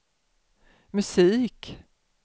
musik